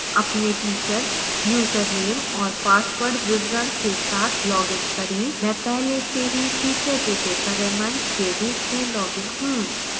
अपने teacher username और password विवरण के साथ login करें